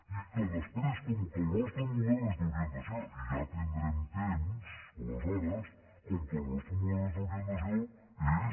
i que després com que el nostre model és d’orientació i ja tindrem temps aleshores com que el nostre model és d’orientació és